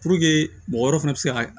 Puruke mɔgɔ wɛrɛw fana be se ka